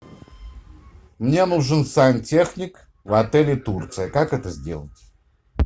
мне нужен сантехник в отеле турция как это сделать